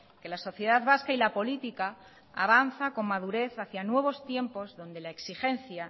que la sociedad vasca y la política avanzan con madurez hacia nuevos tiempos donde la exigencia